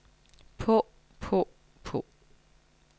på på på